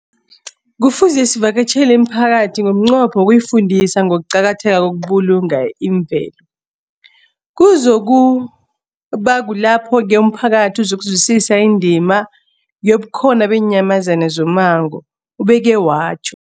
Kufuze sivakatjhele imiphakathi ngomnqopho wokuyifundisa ngokuqakatheka kokubulunga imvelo. Kuzoku ba kulapho-ke umphakathi uzokuzwisisa indima yobukhona beenyamazana zommango, ubeke watjho.